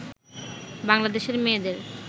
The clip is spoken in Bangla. বাংলাদেশের মেয়েদের